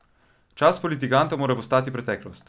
Čas politikantov mora postati preteklost!